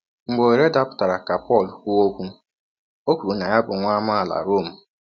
Mgbe ọhere dapụtara ka Pọl kwụọ ọkwụ, ọ kwụrụ na ya bụ nwa amaala Rom.